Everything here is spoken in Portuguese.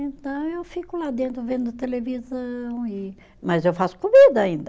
Então eu fico lá dentro vendo televisão e, mas eu faço comida ainda.